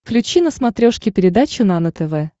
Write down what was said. включи на смотрешке передачу нано тв